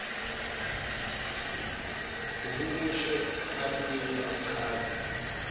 ahumushe abuye achaze